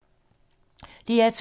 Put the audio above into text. DR2